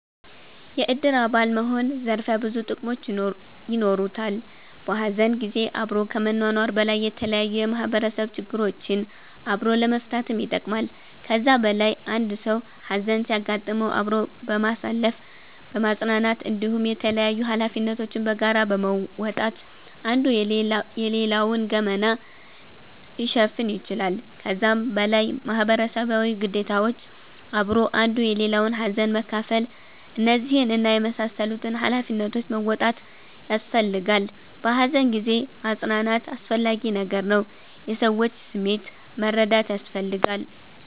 የእድር አባል መሆን ዘርፈ ብዙ ጥቅሞች የኖሩታል። በሀዘን ጊዜ አብሮ ከመኗኗር በላይ የተለያዩ የማህበረሰብ ችግሮችን አብሮ ለመፈታትም ይጠቅማል። ከዛ በላይ አንድ ሰዉ ሀዘን ሲያጋጥመዉ አብሮ በማሳለፍ በማፅናናት እንዲሁም የተላያዩ ሀላፊነቶችን በጋራ በመወጣት አንዱ የሌላዉን ገመና ሊሸፍን ይችላል። ከዛም በላይ ማህበረሰባዊ ግዴታዎች አብሮ አንዱ የሌላዉን ሀዘን መካፍል እነዚህን እና የመሳሰሉትን ሃላፊነቶች መወጣት ያሰፈልጋላ። በሃዘን ጊዜ ማፅናናት አስፈላጊ ነገር ነዉ። የሰዎችንም ስሜት መረዳት ያስፈልጋል